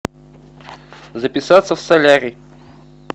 записаться в солярий